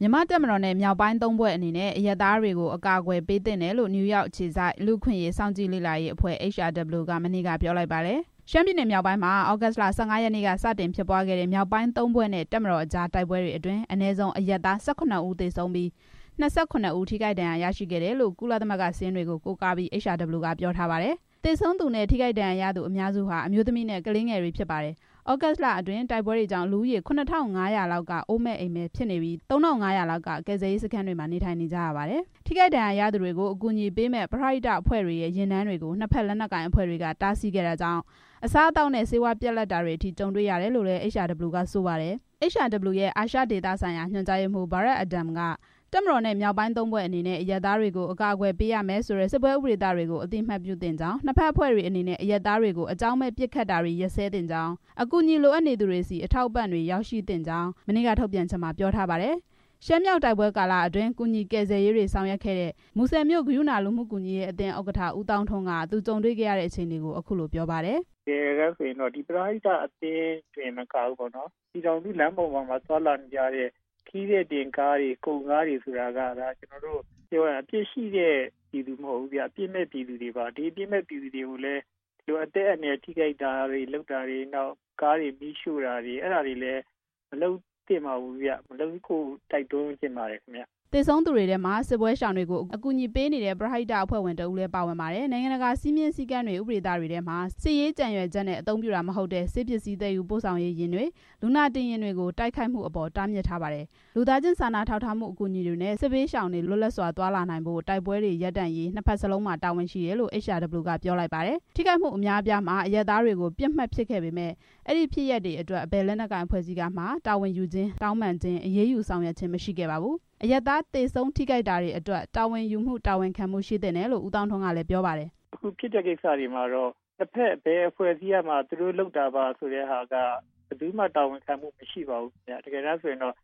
မြန်မာ့တပ်မတော်နဲ့ မြောက်ပိုင်းသုံးဖွဲ့အနေနဲ့ အရပ်သားတွေကို အကာအကွယ်ပေးသင့်တယ်လို့ နယူးယောက် အခြေစိုက် လူ့အခွင့်အရေးစောင့်ကြည့်ရေးအဖွဲ့ HRW က မနေ့က ပြောလိုက်ပါတယ်။ ရှမ်းပြည်နယ်မြောက်ပိုင်းမှာ သြဂုတ်လ ၁၅ ရက်နေ့က စတင်ဖြစ်ပွားခဲ့တဲ့ မြောက်ပိုင်းသုံးဖွဲ့နဲ့ တပ်မတော်အကြား တိုက်ပွဲတွေအတွင်း အနည်းဆုံး အရပ်သား ၁၇ ဦးသေဆုံးပြီး၊ ၂၇ ဦး ထိခိုက်ဒဏ်ရာရရှိခဲ့တယ်လို့ ကုလသမဂ္ဂ စာရင်းတွေကို ကိုးကားပြီး HRW က ပြောထားပါတယ်။ သေဆုံးသူနဲ့ ထိခိုက်ဒဏ်ရာရသူအများစုဟာ အမျိုးသမီးနဲ့ ကလေးငယ်တွေ ဖြစ်ပါတယ်။ သြဂုတ်လအတွင်း တိုက်ပွဲတွေကြောင့် လူဦးရေ ၇၅၀၀ လောက်က အိုးအိမ်မဲ့ဖြစ်နေပြီး၊ ၃၅၀၀ လောက်က ကယ်ဆယ်ရေးစခန်းတွေမှာ နေထိုင်နေကြရပါတယ်။ ထိခိုက်ဒဏ်ရာရသူတွေကို အကူအညီပေးမယ့် ပရဟိတအဖွဲ့တွေရဲ့ ယာဉ်တန်းတွေကို နှစ်ဖက်လက်နက်ကိုင် အဖွဲ့တွေက တားဆီးခဲ့တာကြောင့် အစားအသောက်နဲ့ ဆေးဝါးပြတ်လပ်တာတွေ ကြုံတွေ့ရတယ်လို့လည်း HRW က ဆိုပါတယ်။ HRW ရဲ့အာရှဒေသဆိုင်ရာ ညွှန်ကြားရေးမှူး Brad Adam က - တပ်မတော်နဲ့ မြောက်ပိုင်းသုံးဖွဲ့အနေနဲ့ အရပ်သားတွေကို အကာအကွယ်ပေးရမယ်ဆိုတဲ့ စစ်ပွဲဥပဒေသတွေကို အသိအမှတ်ပြုသင့်ကြောင်း၊ နှစ်ဖက်အဖွဲ့တွေအနေနဲ့ အရပ်သားတွေကို အကြောင်းမဲ့ပစ်ခတ်တာတွေ ရပ်စဲသင့်ကြောင်း၊ အကူအညီလိုအပ်နေသူတွေဆီ အထောက်အပံ့တွေ ရောက်ရှိသင့်ကြောင်း မနေ့က ထုတ်ပြန်ချက်မှာ ပြောထားပါတယ်။ ရှမ်းမြောက်တိုက်ပွဲကာလအတွင်း ကူညီကယ်ဆယ်ရေးတွေ ဆောင်ရွက်ခဲ့တဲ့ မူဆယ်မြို့ ကရုဏာလူမှုကူညီရေး အသင်း ဥက္ကဋ္ဌ ဦးသောင်းထွန်း က - သူကြုံတေ့ွခဲ့ရတဲ့အခြေအနေကို အခုလို ပြောပါတယ်။ "တကယ်တမ်းဆိုရင်တော့ ပရဟိတအသင်းတွေတင်မကဘူး ပြည်ထောင်စုလမ်းမကြီးပေါ်မှာ သွားလာနေတဲ့ ခရီးသည်တင်ကားတွေ၊ ကုန်ကားတွေဆိုတာက အပြစ်ရှိတဲ့ ပြည်သူမဟုတ်ဘူး၊ အပြစ်မဲ့ပြည်သူဗျ။ ဒီအပြစ်မဲ့ပြည်သူတွေကို အသက်အန္တရာယ်ထိခိုက်တာတွေ၊ ကားတွေ မီးရှို့တာတွေလည်း မလုပ်သင့်ပါဘူး။ မလုပ်ဖို့လည်း တိုက်တွန်းချင်ပါတယ်" သေဆုံးသူတွေထဲမှာ စစ်ဘေးရှောင်တွေကို အကူအညီပေးမယ့် ပရဟိတအဖွဲ့ဝင်တစ်ဦးလည်း ပါဝင်ပါတယ်။ နိုင်ငံတကာစည်းမျဉ်းစည်းကမ်းတွေ၊ ဥပဒေသတွေထဲမှာ စစ်ရေး ကြံရွယ်ချက်နဲ့ အသုံးပြုတာမဟုတ်တဲ့ ဆေးပစ္စည်းသယ်ယူပို့ဆောင်ရေးယာဉ်တွေ၊ လူနာတင်ယာဉ်တွေကို တိုက်ခိုက်မှုအပေါ် တားမြစ်ထားပါတယ်။ လူသားချင်းစာနာထောက်ထားမှုအကူအညီတွေ၊ စစ်ဘေးရှောင်တွေ လွတ်လပ်စွာသွားလာနိုင်ဖို့ တိုက်ပွဲတွေ ရပ်တန့်ဖို့ နှစ်ဖက်စလုံးမှာ တာဝန်ရှိတယ်လို့ HRW က ပြောလိုက်ပါတယ်။ ထိခိုက်မှု အများအပြားမှာ အရပ်သားတွေကို ပစ်မှတ်ဖြစ်ခဲ့ပေမယ့် အဲဒီဖြစ်ရပ်တွေအတွက် ဘယ်လက်နက်ကိုင် အဖွဲ့အစည်းကမှ တာဝန်ယူခြင်း၊ တောင်းပန်ခြင်း၊ အရေးယူဆောင်ရွက်ခြင်း မရှိခဲ့ပါဘူး။ အရပ်သားသေဆုံးထိခိုက်တာတွေအတွက် တာဝန်ယူမှု တာဝန်ခံမှု ရှိသင့်တယ်လို့ ဦးသောင်းထွန်း ကလည်း ပြောပါတယ်။ "အခုဖြစ်တဲ့ကိစ္စတွေမှာတော့ နှစ်ဘက်ဘယ်အဖွဲ့အစည်းတွေကမှ သူတို့လုပ်တာပါလို့ ဘယ်သူမှ တာဝန်ခံတာ မရှိပါဘူးဗျ။ တကယ်တမ်းဆိုရင်တော့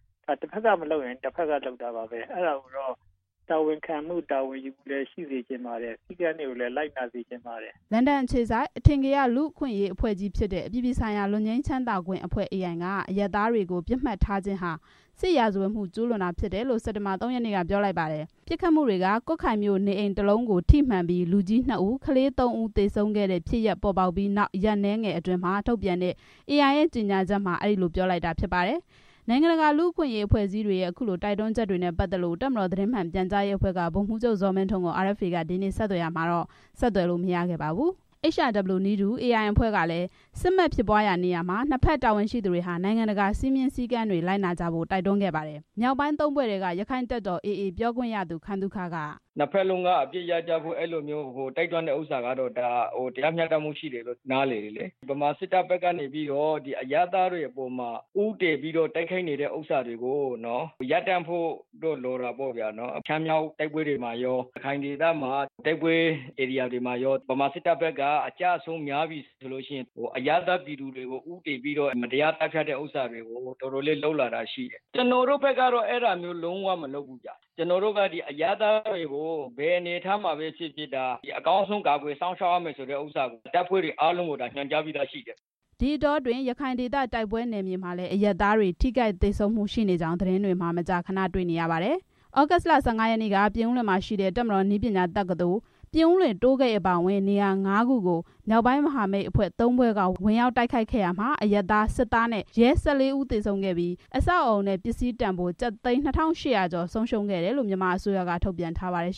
တဘက်က မလုပ်ရင် တဘက်က လုပ်တာပါပဲ။ အဲဒါကိုတော့ တာဝန်ယူမှု တာဝန်ခံမှုလည်း ရှိစေချင်ပါတယ်။ စည်းကမ်းတွေကိုလည်း လိုက်နာစေချင်ပါတယ်" လန်ဒန် အခြေစိုက် အထင်ကရ လူ့အခွင့်အရေးအဖွဲ့ကြီးဖြစ်တဲ့ အပြည်ပြည်ဆိုင်ရာ လွတ်ငြိမ်းချမ်းသာခွင့်အဖွဲ့ က အရပ်သားတွေကို ပစ်မှတ်ထားခြင်းဟာ စစ်ရာဇဝတ်မှု ကျူးလွန်တာဖြစ်တယ်လို့ စက်တင်ဘာ ၃ ရက်နေ့က ပြောလိုက်ပါတယ်။ ပစ်ခတ်မှုတွေက ကွတ်ခိုင်မြို့ နေအိမ်တလုံးကို ထိမှန်ပြီး လူကြီးနှစ်ဦး ကလေးသုံးဦး သေဆုံးခဲ့တဲ့ဖြစ်ရပ် ပေါ်ပေါက်ပြီး ရက်အနည်းငယ်အတွင်း ထုတ်ပြန်တဲ့ ကြေညာချက်မှာ အဲဒီလို ပြောလိုက်တာ ဖြစ်ပါတယ်။ နိုင်ငံတကာလူ့အခွင့်အရေးအဖွဲ့အစည်းတွေရဲ့ အခုလိုတိုက်တွန်းချက်တွေနဲ့ပတ်သက်လို့ တပ်မတော်သတင်း မှန်ပြန်ကြားရေးအဖဲ့ွက ဗိုလ်မှူးချုပ် ဇော်မင်းထွန်းကို RFA က ဒီနေ့ ဆက်သွယ်ပေမယ့် ဆက်သယ်လို့ မရခဲ့ပါဘူး။ HRW နည်းတူ AI အဖွဲ့ကလည်း စစ်မက်ဖြစ်ပွားရာနေရာမှာ နှစ်ဖက်တာဝန်ရှိသူတွေ နိုင်ငံတကာစည်းမျဉ်းစည်းကမ်း လိုက်နာကြဖို့ တိုက်တွန်းခဲ့ပါတယ်။ မြောက်ပိုင်းသုံးဖွဲ့ထဲက ရခိုင့်တပ်တော် AA ပြောခွင့်ရသူ ခိုင်သုခက - "နှစ်ဘက်လုံး အပစ်ရပ်ကြဖို့ ဒီလိုတိုက်တွန်းတာ တရားမျှတမှုရှိတယ်လို့ နားလည်တယ်။ ဗမာစစ်တပ်ဘက်က အရပ်သားတွေကို ဦးတည်တိုက်ခိုက်နေတာ ရပ်တန့်ဖို့တော့ လိုတာပေါ့။ ရှမ်းမြောက်တိုက်ပွဲတွေမှာရော ရခိုင်ဒေသက တိုက်ပွဲဧရိယာတွေမှာရော ဗမာစစ်တပ်ဘက်က အကျအဆုံးများပြီဆိုရင် အရပ်သားပြည်သူတွေကို ဦးတည်ပြီး သတ်ဖြတ်တာ တော်တော်လေးလုပ်လာတာ ရှိတယ်။ ကျွန်တော်တို့ကတော့ အဲဒီလိုလုံးဝမလုပ်ဘူး။ အရပ်သားတွေကို ဘယ်အနေအထားမှာပဲဖြစ်ဖြစ် အကောင်းဆုံးအကာအကွယ်လုပ်ရမယ်ဆိုတာ တပ်ဖွဲ့တွေ အားလုံးကို ညွှန်ကြားထားပြီးဖြစ်တယ်" ဒီအတောအတွင်း ရခိုင်ဒေသ တိုက်ပွဲနယ်မြေမှာလည်း အရပ်သားတွေ ထိခိုက် သေဆုံးမှု ရှိနေကြောင်း သတင်းတွေမှာ မကြာခဏ တွေ့နေရပါတယ်။ သြဂုတ်လ ၁၅ ရက်နေ့က ပြင်ဦးလွင်မှာရှိတဲ့ တပ်မတော်နည်းပညာတက္ကသိုလ်၊ ပြင်ဦးလွင်တိုးဂိတ် အပါအဝင် နေရာ ၅ခုကို မြောက်ပိုင်းမဟာမိတ်အဖွဲ့ ၃ဖွဲ့က ဝင်ရောက်တိုက်ခိုက်ခဲ့ရာမှာ အရပ်သား၊ စစ်သား နဲ့ ရဲ ၁၄ ဦး သေဆုံးခဲ့ပြီး အဆောက်အအုံ နဲ့ ပစ္စည်းတန်ဖိုး ကျပ်သိန်း ၂၈၀၀ ကျော် ဆုံးရှုံးခဲ့တယ်လို့ မြန်မာအစိုးရက ထုတ်ပြန်ထားပါတယ်